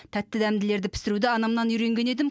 тәтті дәмділерді пісіруді анамнан үйренген едім